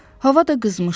Hava da qızmışdı.